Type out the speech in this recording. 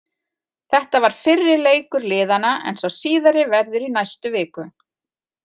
Þetta var fyrri leikur liðanna en sá síðari verður í næstu viku.